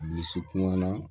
Dusu kun na